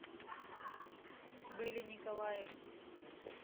бэле николаевне